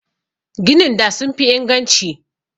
Ginin da sun fi inganci.